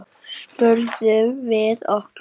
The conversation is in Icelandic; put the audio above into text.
spurðum við okkur.